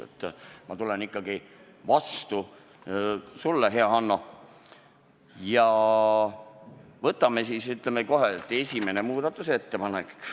Aga ma tulen sulle, hea Hanno, ikkagi vastu ja võtamegi ette kohe esimese muudatusettepaneku.